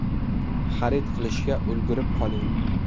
Xarid qilishga ulgurib qoling!